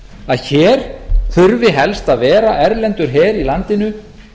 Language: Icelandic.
að hér þurfi helst að vera erlendur her í landinu